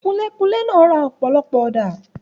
Kunlé-kunlé náà ra ọ̀pọ̀lọpọ̀ ọ̀dà.